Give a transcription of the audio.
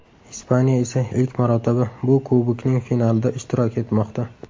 Ispaniya esa ilk marotaba bu kubokning finalida ishtirok etmoqda.